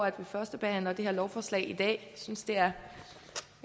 at vi førstebehandler det her lovforslag i dag synes det er